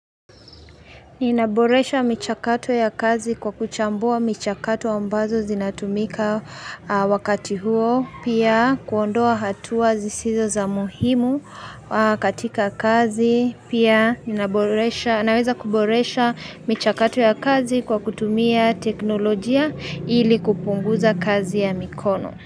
Ni naboresha michakato ya kazi kwa kuchambua michakato ambazo zinatumika wakati huo Pia kuondoa hatua zisizo za muhimu kati kakazi Pia na weza kuboresha michakato ya kazi kwa kutumia teknologia ili kupunguza kazi ya mikono.